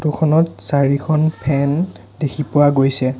Photo খনত চাৰিখন fan দেখি পোৱা গৈছে।